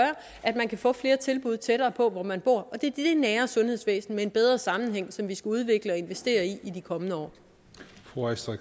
at man kan få flere tilbud tættere på hvor man bor og det er det nære sundhedsvæsen med en bedre sammenhæng som vi skal udvikle og investere i i de kommende år